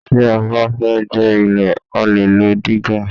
Tí a bá fẹ́ gbẹ́ ilẹ̀ a lè lo dígà